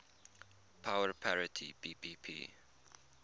power parity ppp